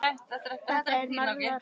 Þetta er magnað.